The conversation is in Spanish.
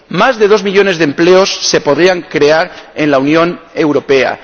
Más de dos millones de empleos se podrían crear en la Unión Europea